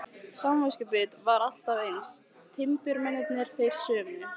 Samviskubitið var alltaf eins, timburmennirnir þeir sömu.